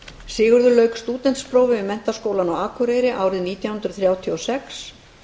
sigurður lauk stúdentsprófi við menntaskólann á akureyri árið nítján hundruð þrjátíu og sex